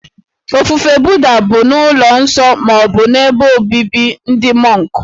Ofufe Buddha bụ n'ụlọ nsọ ma ọ bụ ebe obibi ndị mọnk